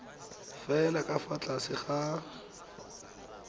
fela ka fa tlase ga